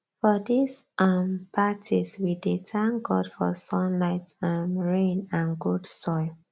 for these um parties we dey thank god for sunlight um rain and good soil